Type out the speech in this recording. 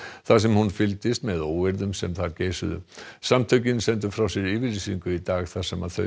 þar sem hún fylgdist með óeirðum sem þar geisuðu samtökin sendu frá sér yfirlýsingu í dag þar sem þau